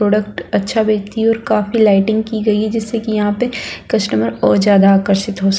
product अच्छा बेचती और काफी लाइटिंग की गई है जिससे कि यहाँ पे कस्टमर और ज्यादा आकर्षित हो स --